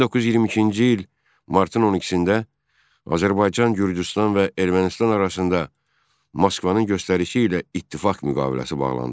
1922-ci il martın 12-də Azərbaycan, Gürcüstan və Ermənistan arasında Moskvanın göstərişi ilə ittifaq müqaviləsi bağlandı.